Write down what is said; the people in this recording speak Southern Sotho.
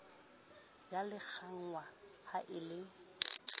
ya lekanngwa ha e le